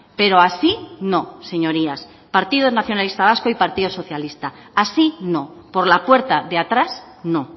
pero así no señorías partido nacionalista vasco y partido socialista así no por la puerta de atrás no